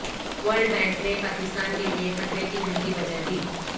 world bank نے پاکستان کیلئے خطرے کی گھنٹی بجادی